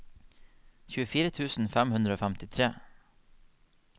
tjuefire tusen fem hundre og femtifire